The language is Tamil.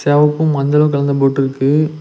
செவப்பு மஞ்சளு கலந்த போட் ருக்கு.